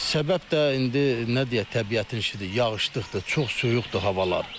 Səbəb də indi nə deyək təbiətin işidir, yağışlıqdır, çox soyuqdur havalar.